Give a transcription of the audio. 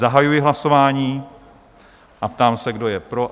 Zahajuji hlasování a ptám se, kdo je pro?